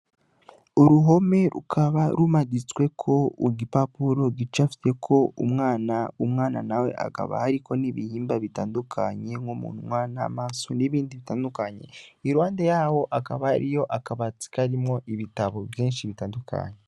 Uruhome rukaba rumaditseko igipapuro rucafyeko umwana, Umwana nawe hakaba hariko n'ibihimba bitandukanye nk'umunwa n'amaso n'ibindi bitandukanye iruhande yaho hakaba hariyo akabati karimwo ibitabo vyishi bitandukanye.